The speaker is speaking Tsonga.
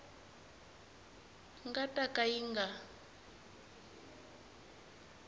nga ta ka yi nga